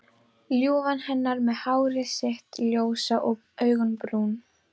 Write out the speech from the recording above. Ljúfan hennar með hárið sitt ljósa og augun brún.